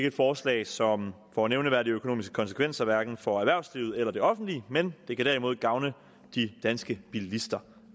et forslag som får nævneværdige økonomiske konsekvenser hverken for erhvervslivet eller det offentlige men det kan derimod gavne de danske bilister